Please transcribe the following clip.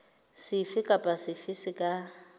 sefe kapa sefe se ka